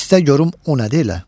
İstə görüm o nədir elə.